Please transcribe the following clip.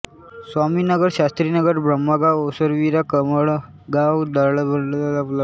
स्वामीनगर शास्रीनगर ब्रह्मगाव ओसरवीरा कळमगाव दांडवळ निळमाती हिरवे बेरीस्ते चास घोसाळी ही जवळपासची गावे आहेत